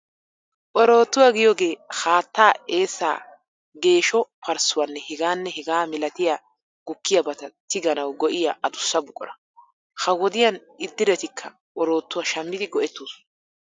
Oroottuwaa giyogee haattaa, eessaa, geesho parssuwaanne hegaanne hegaa milatiya gukkiyabata tigganawu go'iya adussa buqura. Ha wodiyan iddiretikka oroottuwaa shammidi go'ettoosona.